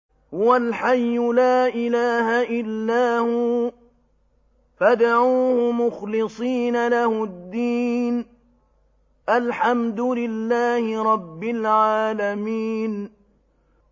هُوَ الْحَيُّ لَا إِلَٰهَ إِلَّا هُوَ فَادْعُوهُ مُخْلِصِينَ لَهُ الدِّينَ ۗ الْحَمْدُ لِلَّهِ رَبِّ الْعَالَمِينَ